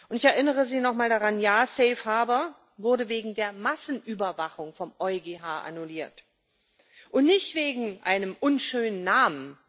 Ich erinnere Sie nochmal daran Ja, Safe Harbour wurde wegen der Massenüberwachung vom EuGH annulliert und nicht wegen eines unschönen Namens.